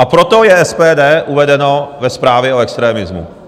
A proto je SPD uvedeno ve zprávě o extremismu.